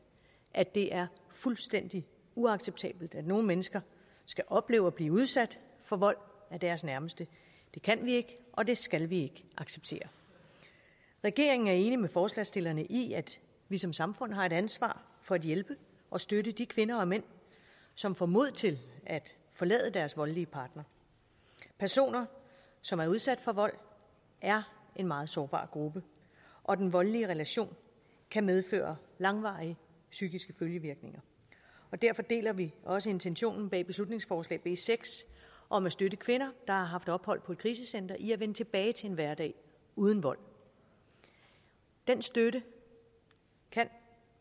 at det er fuldstændig uacceptabelt at nogle mennesker skal opleve at blive udsat for vold af deres nærmeste det kan vi ikke og det skal vi acceptere regeringen er enig med forslagsstillerne i at vi som samfund har et ansvar for at hjælpe og støtte de kvinder og mænd som får mod til at forlade deres voldelige partner personer som er udsat for vold er en meget sårbar gruppe og den voldelige relation kan medføre langvarige psykiske følgevirkninger og derfor deler vi også intentionen bag beslutningsforslag b seks om at støtte kvinder der har haft ophold på et krisecenter i at vende tilbage til en hverdag uden vold den støtte kan